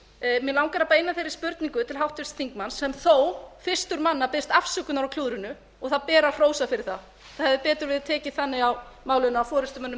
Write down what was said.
mig langar að beina þeirri spurningu til háttvirts þingmanns sem þó fyrstur manna biðst afsökunar á klúðrinu og það ber að hrósa fyrir það það hefði betur verið tekið þannig á málinu af forustumönnum